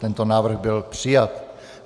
Tento návrh byl přijat.